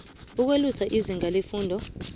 ukwelusa izinga lefundo